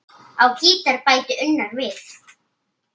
Á gítar bætir Unnar við.